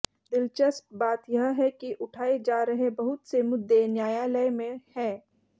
दिलचस्प बात यह है कि उठाए जा रहे बहुत से मुद्दे न्यायालय में हैं